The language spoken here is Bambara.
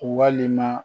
Walima